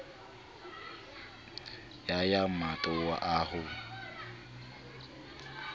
ya ya matamo a ho